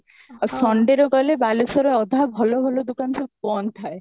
ଆଉ Sunday ରେ ଗଲେ ବାଲେଶ୍ଵର ର ଅଧା ଭଲ ଭଲ ଦୋକାନ ସବୁ ବନ୍ଦ ଥାଏ